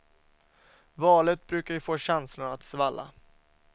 Valet brukar ju få känslorna att svalla.